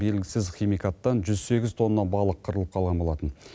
белгісіз химикаттан жүз сегіз тонна балық қырылып қалған болатын